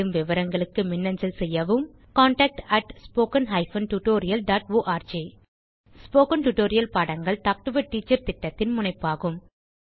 மேலும் விவரங்களுக்கு மின்னஞ்சல் செய்யவும் contactspoken tutorialorg ஸ்போகன் டுடோரியல் பாடங்கள் டாக் டு எ டீச்சர் திட்டத்தின் முனைப்பாகும்